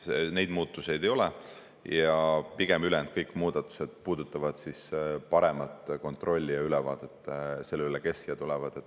Neid muutuseid ei ole ja kõik ülejäänud muudatused pigem puudutavad paremat kontrolli ja ülevaadet sellest, kes siia tulevad.